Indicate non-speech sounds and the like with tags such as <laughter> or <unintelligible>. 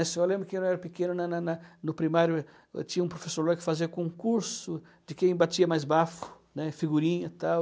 Eu só lembro que <unintelligible> eu era pequeno, na na na no primário, eu tinha um professor lá que fazia concurso de quem batia mais bafo, né, figurinha, tal.